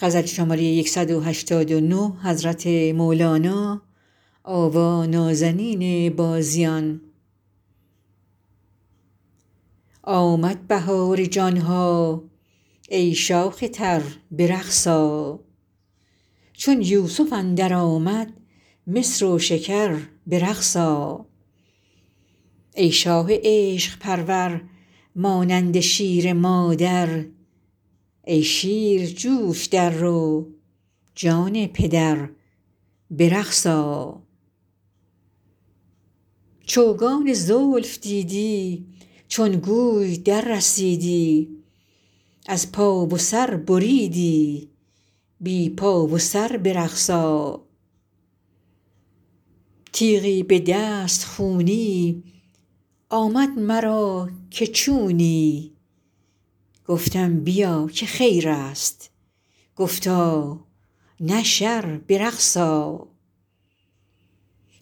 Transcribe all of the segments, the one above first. آمد بهار جان ها ای شاخ تر به رقص آ چون یوسف اندر آمد مصر و شکر به رقص آ ای شاه عشق پرور مانند شیر مادر ای شیر جو ش در رو جان پدر به رقص آ چوگان زلف دیدی چون گوی دررسیدی از پا و سر بریدی بی پا و سر به رقص آ تیغی به دست خونی آمد مرا که چونی گفتم بیا که خیر است گفتا نه شر به رقص آ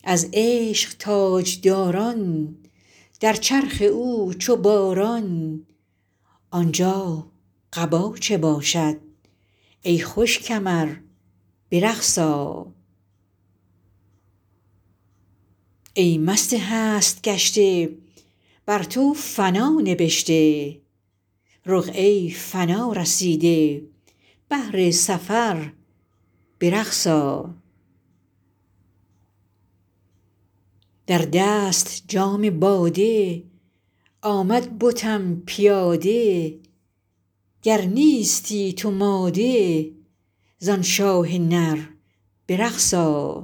از عشق تاج داران در چرخ او چو باران آن جا قبا چه باشد ای خوش کمر به رقص آ ای مست هست گشته بر تو فنا نبشته رقعه ی فنا رسیده بهر سفر به رقص آ در دست جام باده آمد بتم پیاده گر نیستی تو ماده ز آن شاه نر به رقص آ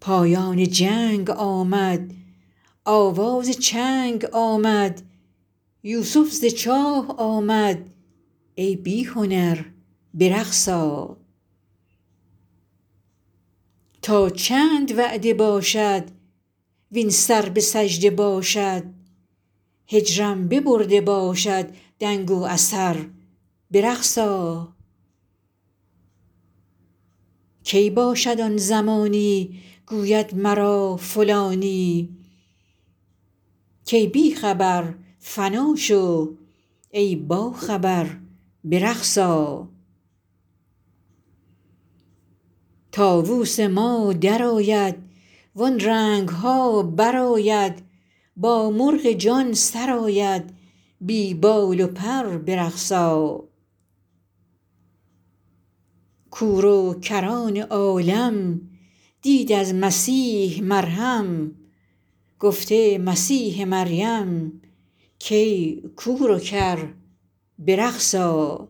پایان جنگ آمد آواز چنگ آمد یوسف ز چاه آمد ای بی هنر به رقص آ تا چند وعده باشد وین سر به سجده باشد هجرم ببرده باشد دنگ و اثر به رقص آ کی باشد آن زمانی گوید مرا فلانی کای بی خبر فنا شو ای باخبر به رقص آ طاووس ما در آید وان رنگ ها برآید با مرغ جان سراید بی بال و پر به رقص آ کور و کران عالم دید از مسیح مرهم گفته مسیح مریم کای کور و کر به رقص آ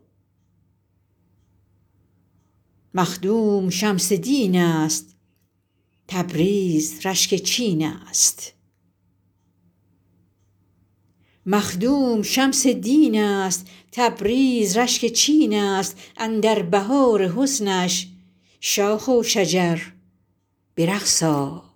مخدوم شمس دین است تبریز رشک چین ا ست اندر بهار حسنش شاخ و شجر به رقص آ